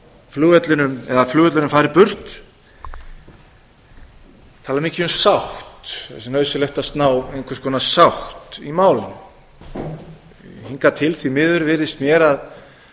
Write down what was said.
flugvellinum eða að flugvöllurinn fari burt tala mikið um sátt sé nauðsynlegt að ná einhvers konar sátt í málinu hingað til því miður virðist mér að